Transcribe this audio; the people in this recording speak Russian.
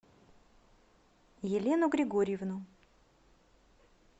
елену григорьевну